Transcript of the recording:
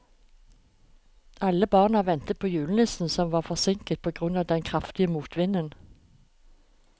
Alle barna ventet på julenissen, som var forsinket på grunn av den kraftige motvinden.